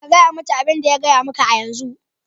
Ka gaya mata abin da ya gaya maka a yanzu.